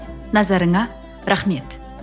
назарыңа рахмет